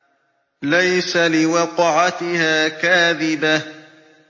لَيْسَ لِوَقْعَتِهَا كَاذِبَةٌ